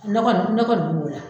Ne kɔni ne kɔni bi na o la